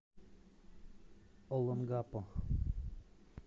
олонгапо